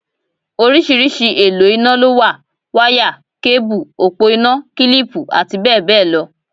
Oríṣiríṣi èlò iná lówà; wáyà, kébù, òpó iná, kílìpù àti bẹ́ẹ̀ bẹ́ẹ̀ lọ.